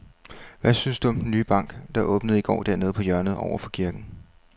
Hvad synes du om den nye bank, der åbnede i går dernede på hjørnet over for kirken?